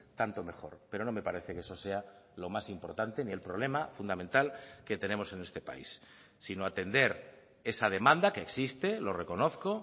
tanto mejor pero no me parece que eso sea lo más importante ni el problema fundamental que tenemos en este país sino atender esa demanda que existe lo reconozco